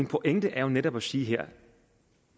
pointe er jo netop at sige her